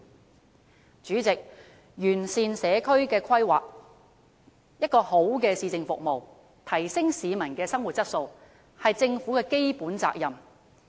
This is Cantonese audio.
代理主席，完善社區規劃、提供良好的市政服務和提升市民的生活質素，是政府的基本責任。